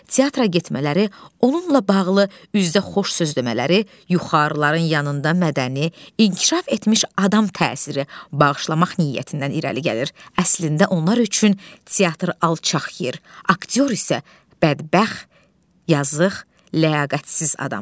Teatra getmələri, onunla bağlı üzdə xoş söz demələri yuxarıların yanında mədəni, inkişaf etmiş adam təsiri bağışlamaq niyyətindən irəli gəlir, əslində onlar üçün teatr alçaq yer, aktyor isə bədbəxt, yazıq, ləyaqətsiz adamdır.